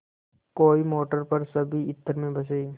कोई मोटर पर सभी इत्र में बसे